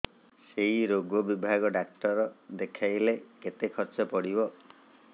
ସେଇ ରୋଗ ବିଭାଗ ଡ଼ାକ୍ତର ଦେଖେଇଲେ କେତେ ଖର୍ଚ୍ଚ ପଡିବ